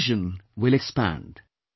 Your vision will expand